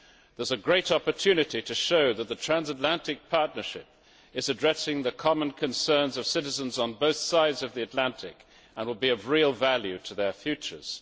There is a great opportunity to show that the transatlantic partnership is addressing the common concerns of citizens on both sides of the Atlantic, and will be of real value to their futures.